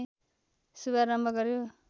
शुभारम्भ गर्‍यो